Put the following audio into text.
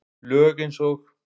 Lög eins og